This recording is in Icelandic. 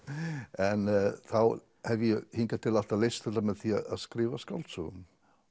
en þá hef ég hingað til alltaf leyst þetta með því að skrifa skáldsögu